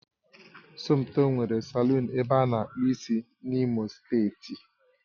Somtoo nwere salọ̀ọ̀n ebe ana akpụ ịsị n'imo steeti